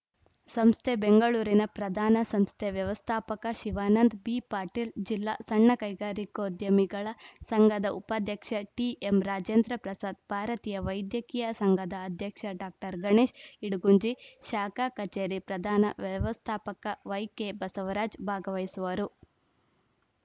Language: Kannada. ಸಂಸ್ಥೆ ಬೆಂಗಳೂರಿನ ಪ್ರಧಾನ ಸಂಸ್ಥೆ ವ್ಯವಸ್ಥಾಪಕ ಶಿವಾನಂದ್ ಬಿಪಾಟೀಲ್ ಜಿಲ್ಲಾ ಸಣ್ಣ ಕೈಗಾರಿಕೋಧ್ಯಮಿಗಳ ಸಂಘದ ಉಪಾಧ್ಯಕ್ಷ ಟಿಎಂರಾಜೇಂದ್ರ ಪ್ರಸಾದ ಭಾರತೀಯ ವೈದ್ಯಕೀಯ ಸಂಘದ ಅಧ್ಯಕ್ಷ ಡಾಕ್ಟರ್ ಗಣೇಶ್ ಇಡಗುಂಜಿ ಶಾಖಾ ಕಚೇರಿ ಪ್ರಧಾನ ವ್ಯವಸ್ಥಾಪಕ ವೈಕೆಬಸವರಾಜ್ ಭಾಗವಹಿಸುವರು